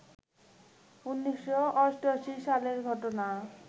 ১৯৮৮ সালের ঘটনা